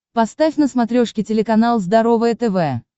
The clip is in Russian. поставь на смотрешке телеканал здоровое тв